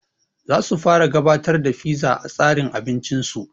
Zasu fara gabatar da fiza a tsarin abincin su